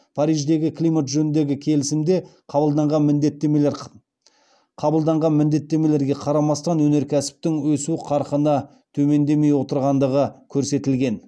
париждегі климат жөніндегі келісімде қабылданған міндеттемеге қарамастан өнеркәсіптің өсу қарқыны төмендемей отырғандығы көрсетілген